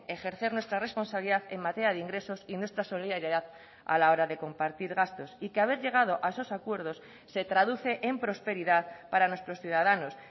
ejercer nuestra responsabilidad en materia de ingresos y nuestra solidaridad a la hora de compartir gastos y que haber llegado a esos acuerdos se traduce en prosperidad para nuestros ciudadanos